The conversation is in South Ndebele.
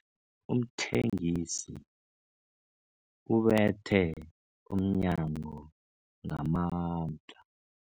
Umthengisi ubethe umnyango ngamandla.